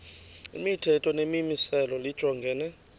imithetho nemimiselo lijongene